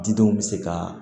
Didenw bɛ se ka